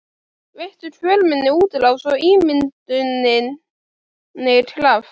Veittu kvöl minni útrás og ímynduninni kraft.